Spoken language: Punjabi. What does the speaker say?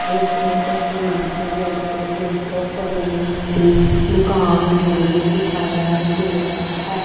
ਇਸ ਤਸਵੀਰ ਵਿੱਚ ਇੱਕ ਸੈਲੂਨ ਦੀ ਦੁਕਾਨ ਨੂੰ ਦਿਖਾਇਆ ਗਿਆ ਹੈ।